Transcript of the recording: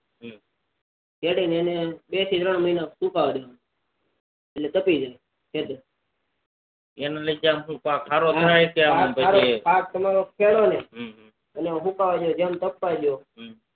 ખેડી એને બે તન મહિના સુકાય દેવાનું એટલે તાપી જાય ખેતર એનું લીધે પાક આમ સારો થાય કે પછી પાક તમારો ખેડો ને એટલે સુકાઈ દો જેમ તપવાદો